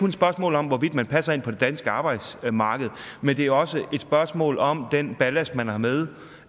et spørgsmål om hvorvidt man passer ind på det danske arbejdsmarked men det er også et spørgsmål om den ballast man har med